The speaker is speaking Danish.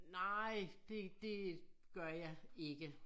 Nej det det gør jeg ikke